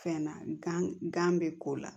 Fɛn na gan gan bɛ ko la